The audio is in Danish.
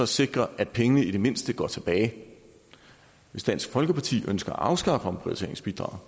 sikre at pengene i det mindste går tilbage hvis dansk folkeparti ønsker at afskaffe omprioriteringsbidraget